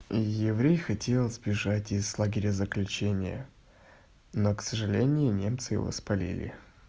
еврей хотел сбежать из лагеря заключения но к сожалению немцы его спалили